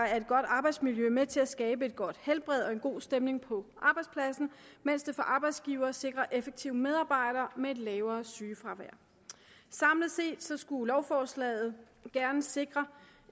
er et godt arbejdsmiljø med til at skabe et godt helbred og en god stemning på arbejdspladsen mens det for arbejdsgiverne sikrer effektive medarbejdere med et lavere sygefravær samlet set skulle lovforslaget gerne sikre